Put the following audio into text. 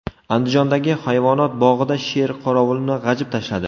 Andijondagi hayvonot bog‘ida sher qorovulni g‘ajib tashladi.